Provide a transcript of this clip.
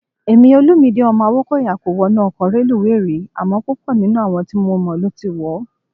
Èmi, Olumide ọmọ Awókọ̀yà kò wọnú ọkọ̀ reluwé rí, àmọ́ púpọ̀ nínú àwọn tí mo mọ̀ ló ti wọ̀ ọ́.